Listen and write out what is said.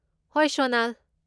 ꯍꯣꯏ, ꯁꯣꯅꯜ꯫